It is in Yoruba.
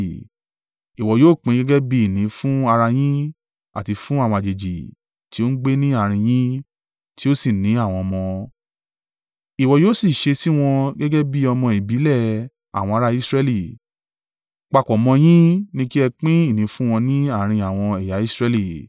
Ìwọ yóò pín gẹ́gẹ́ bí ìní fún ara yín àti fún àwọn àjèjì tí ó ń gbé ní àárín yín tí ó sì ní àwọn ọmọ. Ìwọ yóò sì ṣe sí wọn gẹ́gẹ́ bí ọmọ ìbílẹ̀ àwọn ará Israẹli; papọ̀ mọ́ yin ni kí ẹ pín ìní fún wọn ní àárín àwọn ẹ̀yà Israẹli.